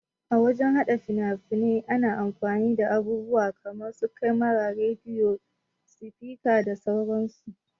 A wajan haɗa fina-fnai ana amfani da abubuwa kaman su kamara, rediyo, sifika da sauran su.